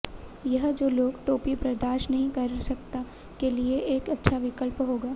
यह जो लोग टोपी बर्दाश्त नहीं कर सकता के लिए एक अच्छा विकल्प होगा